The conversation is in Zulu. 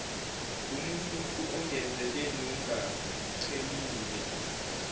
ngumununtu ongenzeleli nongachemile